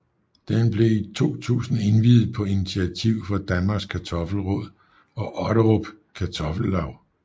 Det blev i 2000 indviet på initiativ fra Danmarks Kartoffel Råd og Otterup Kartoffellaug